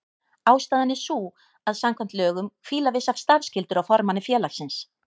Ástæðan er sú að samkvæmt lögum hvíla vissar starfsskyldur á formanni félagsins.